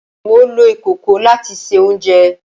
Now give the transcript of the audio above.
Mo lo ikoko lati se ounjẹ